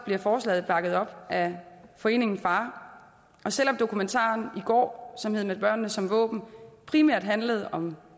bliver forslaget bakket op af foreningen far og selv om dokumentaren i går som hedder med børnene som våben primært handlede om